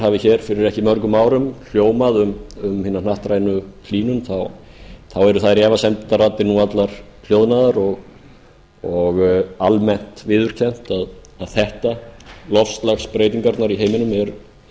hafi fyrir ekki mörgum árum hljómað um hina hnattrænu hlýnun þá eru þær efasemdarraddir nú allar hljóðnaðar og almennt viðurkennt að þetta loftslagsbreytingarnar í heiminum eru